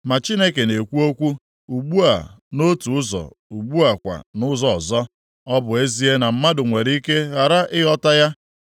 Ma Chineke na-ekwu okwu, ugbu a nʼotu ụzọ, ugbu a kwa nʼụzọ ọzọ, ọ bụ ezie na mmadụ nwere ike ghara ịghọta ya.